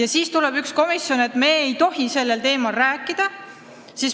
Aga siis ütleb üks komisjon, et me ei tohi sellel teemal rääkida.